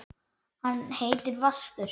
Hann heitir Vaskur.